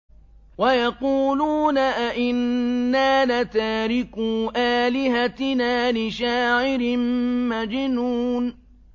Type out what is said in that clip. وَيَقُولُونَ أَئِنَّا لَتَارِكُو آلِهَتِنَا لِشَاعِرٍ مَّجْنُونٍ